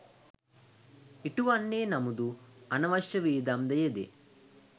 ඉටුවන්නේ නමුදු අනවශ්‍ය වියදම් ද යෙදේ.